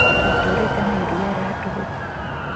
Twatũũrĩte na iria rĩa tũhũ.